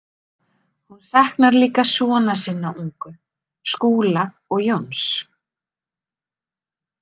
Hún saknar líka sona sinna ungu, Skúla og Jóns.